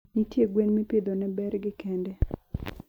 Ntie gwen mipidho ne bergi kende